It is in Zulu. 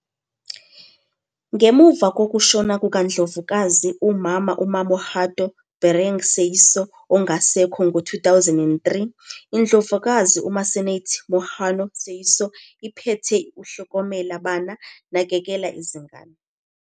Ngemuva kokushona kukaNdlovukazi uMama uMamohato Bereng Seeiso ongasekho ngo-2003, iNdlovukazi 'Masenate Mohato Seeiso "iphethe uHlokomela Bana", Nakekela Izingane.